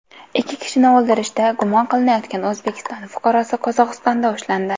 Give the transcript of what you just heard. Ikki kishini o‘ldirishda gumon qilinayotgan O‘zbekiston fuqarosi Qozog‘istonda ushlandi.